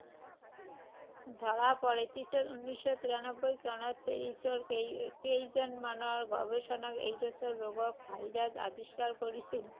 ধৰা পৰে। পিছত উনৈশ শ তিৰানব্বৈ চনত পেৰিছৰ কেই, কেইজনমানৰ গৱেষকে এইড্‌ছ ৰোগৰ ভাইৰাছ আৱিষ্কাৰ কৰিছিল ৷